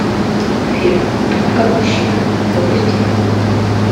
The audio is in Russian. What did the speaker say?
фильм думай как мужчина запусти